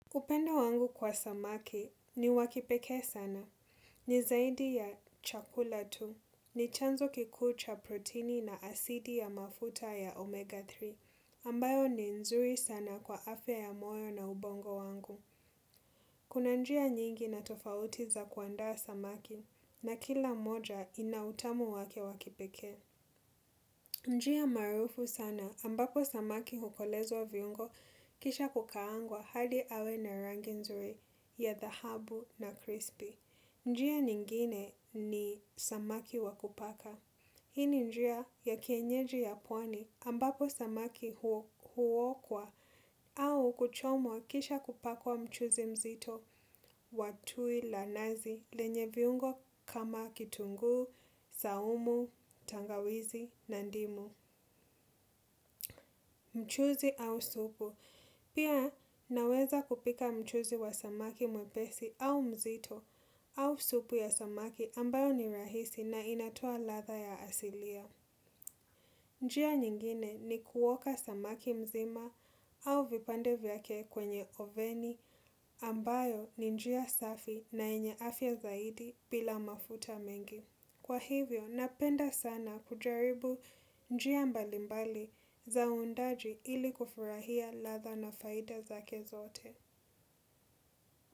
Upendo wangu kwa samaki ni wakipeke sana. Ni zaidi ya chakula tu. Ni chanzo kikuu cha proteini na asidi ya mafuta ya omega tatu. Ambayo ni nzuri sana kwa afya ya moyo na ubongo wangu. Kuna njia nyingi na tofauti za kuandaa samaki. Na kila moja inautamu wake wakipeke. Njia maarufu sana ambapo samaki hukolezwa viungo kisha kukaangwa hadi awe na rangi nzuri. Ya dhahabu na crispy, njia nyingine ni samaki wakupaka, hii ni njia ya kienyeji ya pwani ambapo samaki huokwa au kuchomwa kisha kupakwa mchuzi mzito watui la nazi lenye viungo kama kitunguu, saumu, tangawizi na ndimu. Mchuzi au supu, pia naweza kupika mchuzi wa samaki mwepesi au mzito au supu ya samaki ambayo ni rahisi na inatoa latha ya asilia. Njia nyingine ni kuoka samaki mzima au vipande vyake kwenye oveni ambayo ni njia safi na yenye afia zaidi bila mafuta mengi. Kwa hivyo, napenda sana kujaribu njia mbalimbali za undaji ili kufurahia latha na faida zake zote.